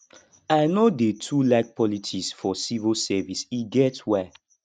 i no dey too like politics for civil service e get why